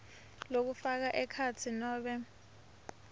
lokufaka ekhatsi nobe